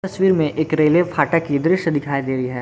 में एक रेलवे फाटक की दृश्य दिखाई दे रही है।